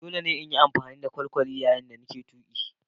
Dole ne in yi amfani da kwalkwali yayin da nake tuki.